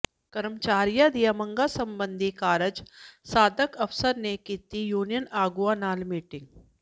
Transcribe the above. ਕਰਮਚਾਰੀਆਂ ਦੀਆਂ ਮੰਗਾਂ ਸਬੰਧੀ ਕਾਰਜ ਸਾਧਕ ਅਫ਼ਸਰ ਨੇ ਕੀਤੀ ਯੂਨੀਅਨ ਆਗੂਆਂ ਨਾਲ ਮੀਟਿੰਗ